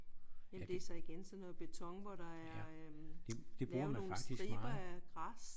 Jamen det er så igen sådan noget beton hvor der er øh lavet nogle striber af græs